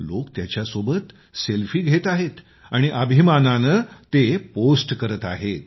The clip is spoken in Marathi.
लोक त्याच्यासोबत सेल्फी घेत आहेत आणि अभिमानाने ते पोस्ट करत आहेत